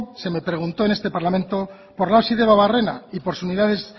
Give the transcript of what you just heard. se me preguntó en este parlamento por la osi debabarrena y por